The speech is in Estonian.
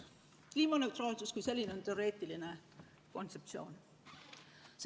Kliimaneutraalsus kui selline on teoreetiline kontseptsioon.